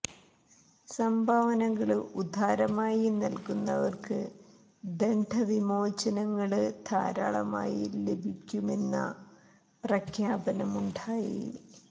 സംഭാവനകള് ഉദാരമായി നല്കുന്നവര്ക്ക് ദണ്ഡ വിമോചനങ്ങള് ധാരാളമായി ലഭി ക്കുമെന്ന പ്രഖ്യാപനമുണ്ടായി